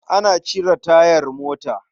Ana cire tayar mota.